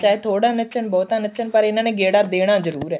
ਚਾਹੇ ਥੋੜਾ ਨੱਚਣ ਬਹੁਤਾ ਨੱਚਣ ਪਰ ਇਹਨਾ ਨੇ ਗੇੜਾ ਦੇਣਾ ਜਰੂਰ ਏ